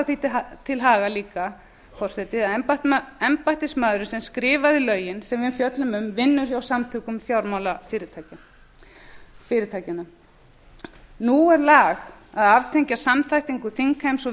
því til haga forseti að embættismaðurinn sem skrifaði lögin sem við fjöllum um vinnur hjá samtökum fjármálafyrirtækjanna nú er lag að aftengja samþættingu þingheims og